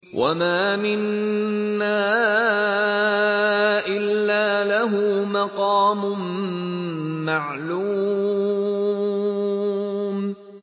وَمَا مِنَّا إِلَّا لَهُ مَقَامٌ مَّعْلُومٌ